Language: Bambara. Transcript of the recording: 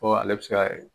Ko ale bɛ se ka